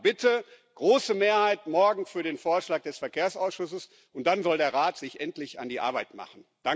Also bitte Große Mehrheit morgen für den Vorschlag des Verkehrsausschusses, und dann soll der Rat sich endlich an die Arbeit machen.